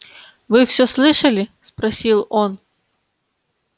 вы всё слышали спросил он